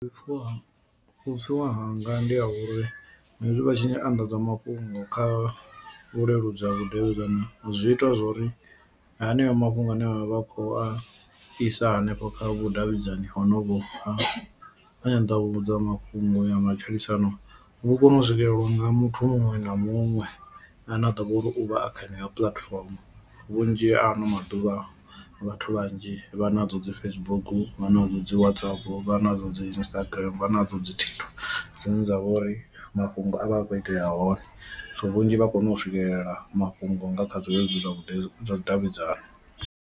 Vhupfhiwa vhupfhiwa hanga ndi ha uri hezwi vha tshi nya anḓadza mafhungo kha vhuleludzi ha vhudavhidzani zwi ita zwori haneyo mafhungo ane vhavha vha khou a isa hanefho kha vhudavhidzani honovho ha nyanḓavhudza mafhungo ya matshilisano vhu kone u swikeleliwa nga muthu muṅwe na muṅwe ane a ḓo vhori u vha a kha yeneyo puḽatifomo. Vhunzhi ha ano maḓuvha vhathu vhanzhi vha nadzo dzi Facebook, vha nadzo dzi WhatsApp, vha nadzo dzi Instagram, vha nadzo dzi dzine dza vha uri mafhungo a vha a khou itea hone, so vhunzhi vha kona u swikelela mafhungo nga kha zwileludzi zwa vhudavhidzani.